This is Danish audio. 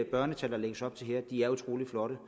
børnetal der lægges op til her er utrolig flotte